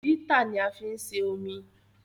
Ítà ni a fí ń se omi